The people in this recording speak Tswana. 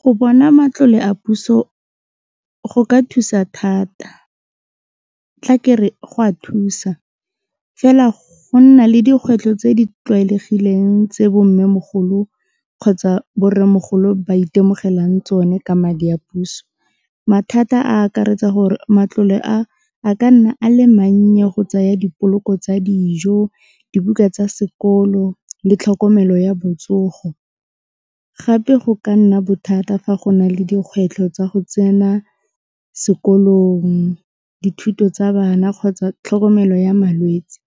Go bona matlole a puso go ka thusa thata tla ke re go a thusa fela go nna le dikgwetlho tse di tlwaelegileng tse bo mmemogolo kgotsa bo rremogolo ba itemogelang tsone ka madi a puso mathata a akaretsa gore matlole a a ka nna a le mannye go tsaya dipoloko tsa dijo, dibuka tsa sekolo le tlhokomelo ya botsogo. Gape go ka nna bothata fa go na le dikgwetlho tsa go tsena sekolong, dithuto tsa bana kgotsa tlhokomelo ya malwetsi,